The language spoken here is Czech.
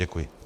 Děkuji.